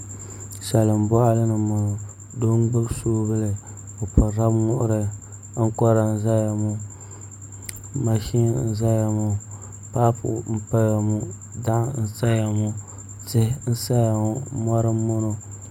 Salin boɣali ni n boŋo doo n gbubi soobuli o pirila muɣuri ankora n ʒɛya ŋo mashin n ʒɛya ŋo paapu n paya ŋo daɣu n saya ŋo tihi n saya ŋo mori n doya ŋo